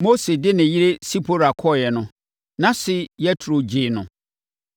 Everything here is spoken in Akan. Mose de ne yere Sipora kɔeɛ no, nʼase Yetro gyee no